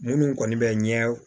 Minnu kɔni bɛ ɲɛ